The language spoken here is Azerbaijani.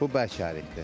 Bu bərk ərikdir.